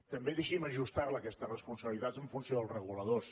també deixi’m ajustar la aquesta responsabilitat en funció dels reguladors